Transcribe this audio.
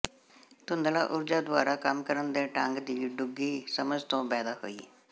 ਧੁੰਧਲਾ ਊਰਜਾ ਦੁਆਰਾ ਕੰਮ ਕਰਨ ਦੇ ਢੰਗ ਦੀ ਡੂੰਘੀ ਸਮਝ ਤੋਂ ਪੈਦਾ ਹੋਈ